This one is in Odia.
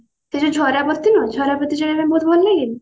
ସେଇ ଯଉ ଝରାବତୀ ନୁହଁ ଝରାବତୀ ଜଳେଇବା ପାଇଁ ବହୁତ ଭଲ ଲାଗେନି?